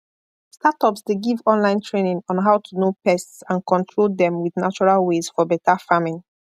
startups dey give online training on how to know pests and control dem with natural ways for better farming